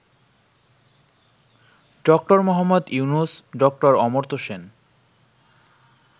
ড: মুহাম্মদ ইউনূস, ড: অমর্ত্য সেন